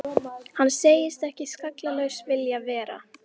Hann segist ekki skallalaus vilja vera.